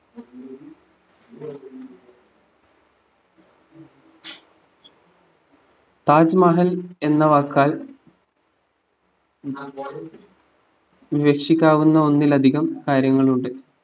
താജ്മഹൽ എന്ന വാക്കാൽ ഉദ്ദേശിക്കാവുന്ന ഒന്നിലധികം കാര്യങ്ങളുണ്ട്